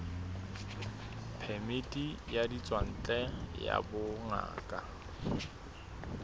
phemiti ya ditswantle ya bongaka